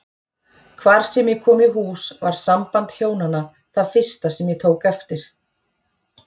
Hvar sem ég kom í hús var samband hjónanna það fyrsta sem ég tók eftir.